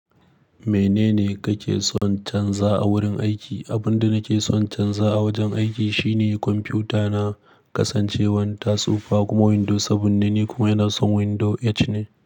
Menene kake son canza a wurin aiki? Abin da nake son canza a wajen aiki shine kwamfuta na kasancewan ta tsufa kuma window seven ne kuma yana son window eight ne.